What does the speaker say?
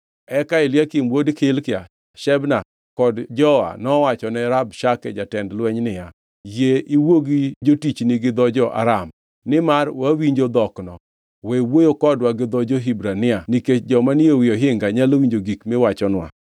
Eka Eliakim wuod Hilkia, Shebna kod Joa nowachone Rabshake jatend lweny niya, “Yie iwuo gi jotichni gi dho jo-Aram, nimar wawinjo dhokno. We wuoyo kodwa gi dho jo-Hibrania nikech joma ni e ohinga nyalo winjo gik miwachonwa.”